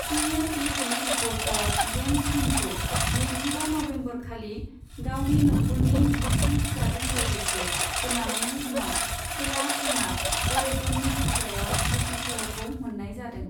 सि N E T reporter James किमखौ नैजिबा नबेम्बरखालि गावनि नखरनि बिसि फिसाजों लोगोसे गोमानायनि उनाव खोला सोनाब अरेगननि हाग्रायाव गोथै सहखौ मोननाय जादों।